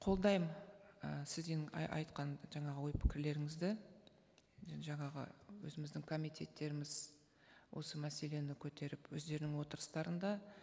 қолдаймын і сіздің айтқан жаңағы ой пікірлеріңізді жаңағы өзіміздің комитеттеріміз осы мәселені көтеріп өздерінің отырыстарында